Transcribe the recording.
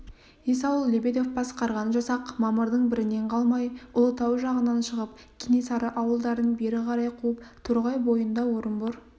есауыл лебедев басқарған жасақ мамырдың бірінен қалмай ұлытау жағынан шығып кенесары ауылдарын бері қарай қуып торғай бойында орынбор